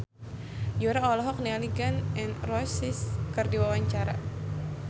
Yura olohok ningali Gun N Roses keur diwawancara